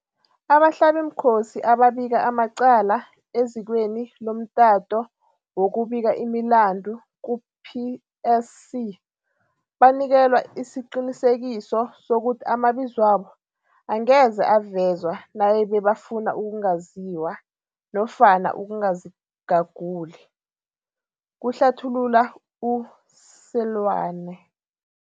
Abahlabimkhosi ababika amacala ezikweni lomta to wokubika imilandu ku-PSC banikelwa isiqini sekiso sokuthi amabizwabo angeze avezwe nayibe ba funa ukungaziwa nofana ukungazigaguli, kuhlathu lula u-Seloane.